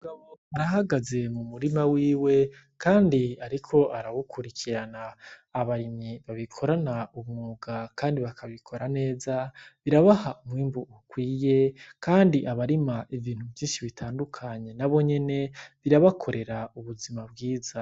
Arahagaze mu murima wiwe kandi ariko arawukrikirana. Abarimyi babikorana ubumwuga kandi bakabikora neza birabaha umwimbu ukwiye kandi abarima ibintu vyinshi bitandukanye nabo nyene birabakorera ubuzima bwiza.